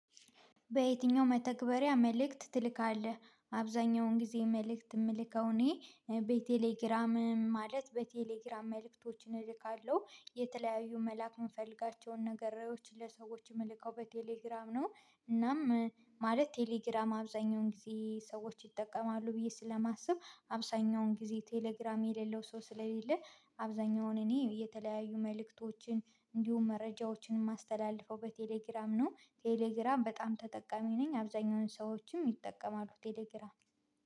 በየትኛው መተግበሪያ መልእክት ትልካለህ? አብዛኛውን ጊዜ መልእክት የምልከው እኔ ቤቴሌግራም ማለት በቴሌግራም መልእክቶችን እልካለሁ። የተለያዩ መላክ የምፈልጋቸውን ነገር ለሰዎች የምልከው በቴሌግራም ነው። እናም ማለት ቴሌግራም አብዛኛውን ጊዜ ሰዎች ይጠቀማሉ ብዬ ስለማስብ አብዛኛውን ጊዜ ቴሌግራም የሌለው ሰው ስለሌለ አብዛኛውን እኔ የተለያዩ መልእክቶችን እንዲሁም መረጃዎችን የማስተላልፈው በቴሌግራም ነው። ቴሌግራም በጣም ተጠቃሚ ነኝ አብዛኛውን ሰዎችም ይጠቀማሉ ቴሌግራም።